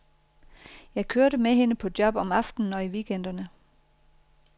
Jeg kørte med hende på job om aftenen og i weekenderne.